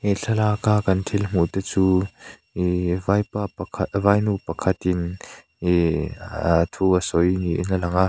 thlalak a kan thil hmuh te chu ehh vaipa pakhat vainu pakhatin ehh aa thu a sawi niin an lang a.